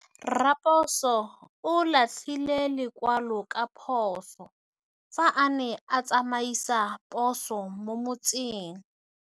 Raposo o latlhie lekwalô ka phosô fa a ne a tsamaisa poso mo motseng.